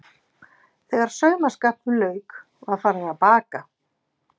Þegar saumaskapnum lauk var farið að baka.